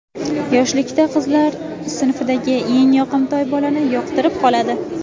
Yoshlikda qizlar sinfidagi eng yoqimtoy bolani yoqtirib qoladi.